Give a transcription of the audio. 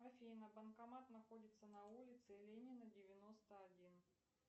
афина банкомат находится на улице ленина девяносто один